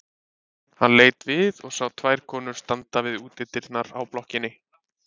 Hann leit við og sá tvær konur standa við útidyrnar á blokkinni.